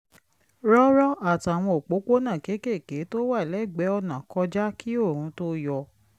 rọ́rọ́ àtàwọn òpópónà kéékèèké tó wà lẹ́gbẹ̀ẹ́ ọ̀nà kọjá kí oòrùn tó yọ